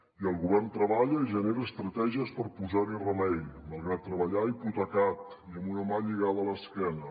i el govern treballa i genera estratègies per posar hi remei malgrat treballar hipotecat i amb una mà lligada a l’esquena